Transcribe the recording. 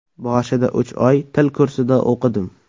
Boshida uch oy til kursida o‘qidim.